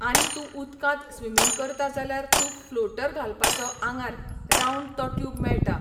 आनी तूं उदकांत स्विमींग करता जाल्यार तूं फ्लोटर घालपाचो आंगार रावंड तो ट्यूब मेळटा.